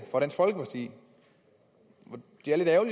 fra dansk folkeparti jeg